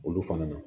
Olu fana na